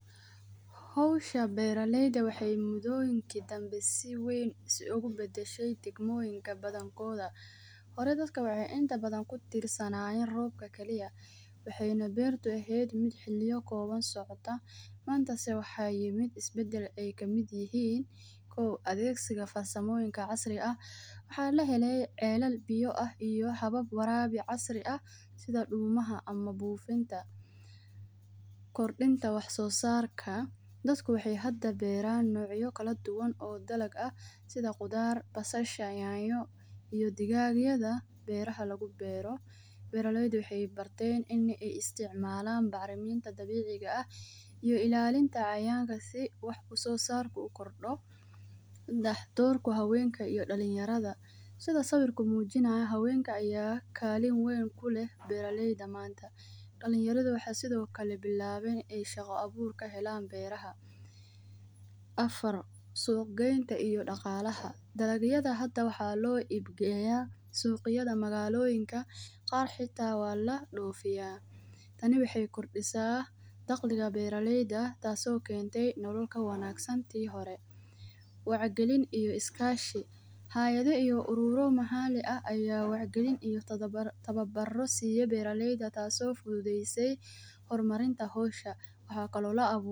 Hawsha beera layda waxa mudoyinka dambe si weyn ayskubadashay dagmoyinka badonkodha. Horay dadka wax inta badan kutirsdanayeen roobka galiya waxayna beertu aheed mid xiliya gowan socota manata waxay mid isbadal kamid ihiin kuwa daegsiga farsamoyinka casriga aah. Waxa laheele celal biyo aah iyo habab warabi casri aah sidha dulmaha ama bufinta kordinta wax so sarka. Dadka waxay hada beeran noocya kaaladuwan oo dalag aah sidha qudhaar basasha, nyanyo iyo digagaydha beeraha lagu beero. Beera layda waxay barteen in ay isticmalan bacraminta dabiciga aah iyo ilalinta cayaynka si wax usosarka ukordo daxdorko haweynka iyo dalinyardha. Sidha sawirka mujinaya haweynka aya kalin weyn kuleehn beera layda manta, dalinyardaha waxay sidhokale bilaween in shaqo abuur kahelan beera ah. Afaar, suug geynta iyon daqalaha, dalag yadha hada waxa loo ibgeya sug yadha magaloyinka qaar xita waa lo dofiya tani waxay kordisa daqliga beera layda taaso keente nolool ka wanagsan ti hore. Wacya galiin iyo iskashi, haydha iyo ururo maxali aah aya wac galiin iyo tawabaro siye beeralayda taaso fudhudheyse hormarinta hawsha.